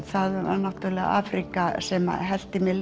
það var Afríka sem hellti mér